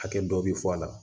Hakɛ dɔ bi fɔ a la